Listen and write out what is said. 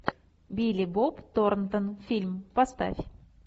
билли боб торнтон фильм поставь